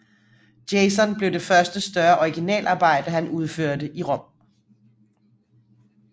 Jason blev det første større originalarbejde han udførte i Rom